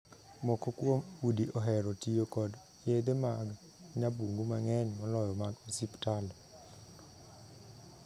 Moko kuom udi ohero tiyo kod yedhe mag nyabungu mang'eny moloyo mag osiptal.